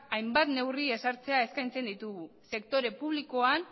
hainbat neurri ezartzea eskaintzen ditugu sektore publikoan